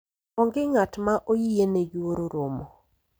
onge ng'at ma oyiene yuoro romo